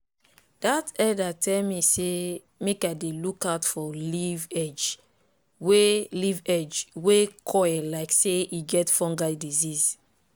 dat elder tell me say make i dey look out for leaf edge wey leaf edge wey curl like say e get fungal disease.